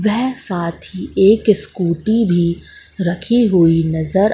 वेहे साथ ही एक स्कूटी भी रखी हुई नजर--